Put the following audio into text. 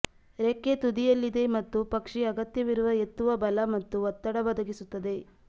ರೆಕ್ಕೆ ತುದಿಯಲ್ಲಿದೆ ಮತ್ತು ಪಕ್ಷಿ ಅಗತ್ಯವಿರುವ ಎತ್ತುವ ಬಲ ಮತ್ತು ಒತ್ತಡ ಒದಗಿಸುತ್ತದೆ